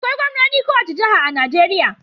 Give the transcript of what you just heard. Akwai gwamnonin kowace jiha a Najeriya.